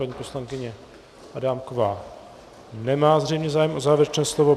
Paní poslankyně Adámková nemá zřejmě zájem o závěrečné slovo.